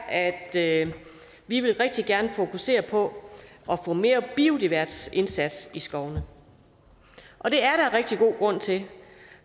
at at vi rigtig gerne vil fokusere på at få mere biodiversitetsindsats i skovene og det er der rigtig god grund til